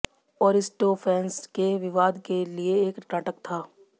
Aristophanes के विवाद के लिए एक नाटक था